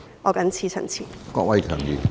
我謹此陳辭。